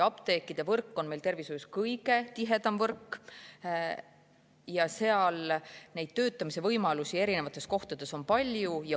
Apteekide võrk on tervishoius kõige tihedam võrk ja seal on erinevates kohtades töötamise võimalusi palju.